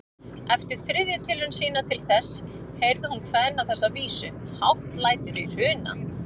Eftir þriðju tilraun sína til þess heyrði hún kveðna þessa vísu: Hátt lætur í Hruna